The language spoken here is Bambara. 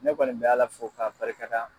Ne kɔni bɛ Ala fo k'a barika da.